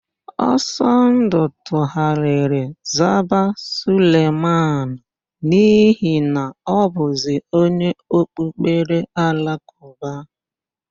Ọsọndụ tugharịrị zaba Suleman n'ihi na ọ bụzi onye okpukpere Alakụba.